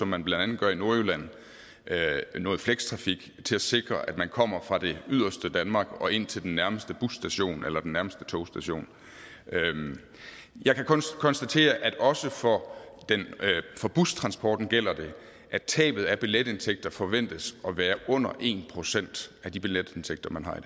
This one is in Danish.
man blandt andet gør i nordjylland noget flekstrafik til at sikre at man kommer fra det yderste danmark og ind til den nærmeste busstation eller den nærmeste togstation jeg kan kun konstatere at også for bustransporten gælder det at tabet af billetindtægter forventes at være under en procent af de billetindtægter man har